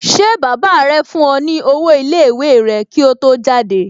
Ṣé baba rẹ fún ọ ní owó iléèwé rẹ kí ó tó jáde?